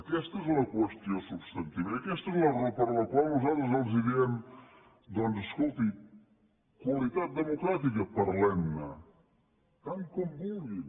aquesta és la qüestió substantiva i aquesta és la raó per la qual nosaltres els diem doncs escolti qualitat democràtica parlem ne tant com vulguin